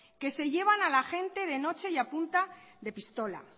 que se llevan a la gente de noche y a punta de pistola